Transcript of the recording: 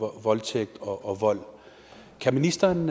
voldtægt og vold kan ministeren